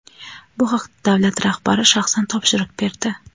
Bu haqda davlat rahbari shaxsan topshiriq berdi.